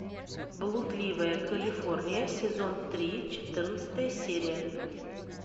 блудливая калифорния сезон три четырнадцатая серия